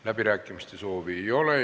Läbirääkimiste soovi ei ole.